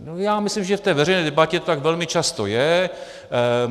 Já myslím, že v té veřejné debatě to tak velmi často je.